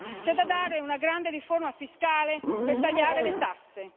C'è da dare una grande riforma fiscale per tagliare le tasse.